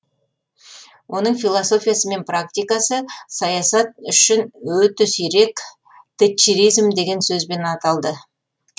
оның философиясы мен практикасы саясат үшін өте сирек тэтчеризм деген сөзбен аталды